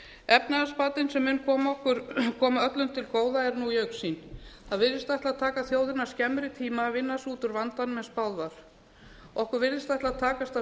efnahagsbatinn sem mun koma öllum til góða er nú í augsýn það virðist ætla að taka þjóðina skemmri tíma að vinna sig út úr vandanum en spáð var okkur virðist ætla að takast að